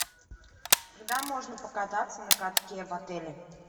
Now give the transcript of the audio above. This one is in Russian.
когда можно покататься на катке в отеле